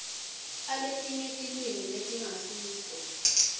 aletinye tilwimi letingasiso